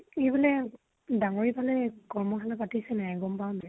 ই বুলে দাঙ্গৰী ফালে কৰ্মশালা পাতিছিলে, গম পাৱ যে